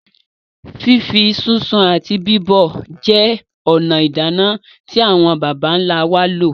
Fífí, sísun àti bíbọ̀ jẹ́ ònà ìdáná tí àwọn bàbá ńlá wá lò,.